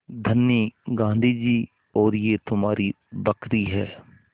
धनी गाँधी जी और यह तुम्हारी बकरी है